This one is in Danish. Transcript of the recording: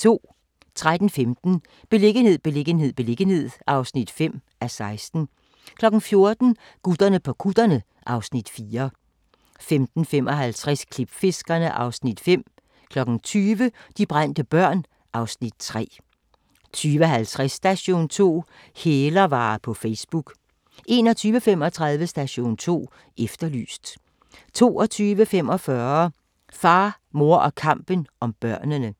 13:15: Beliggenhed, beliggenhed, beliggenhed (5:16) 14:00: Gutterne på kutterne (Afs. 4) 15:55: Klipfiskerne (Afs. 5) 20:00: De brændte børn (Afs. 3) 20:50: Station 2: Hælervarer på Facebook 21:35: Station 2 Efterlyst 22:45: Far, mor og kampen om børnene